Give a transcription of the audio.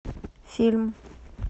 фильм